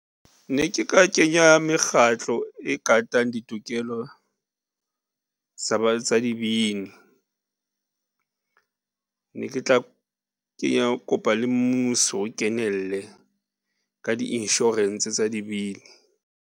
Ne ke ka kenya mekgatlo e katang ditokelo tsa dibini ne ke tla kopa le mmuso o kenelle ka di-insurance tsa dibini.